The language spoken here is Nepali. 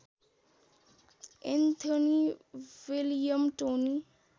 Anthony William Tony